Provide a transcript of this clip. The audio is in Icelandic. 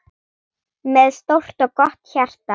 Með stórt og gott hjarta.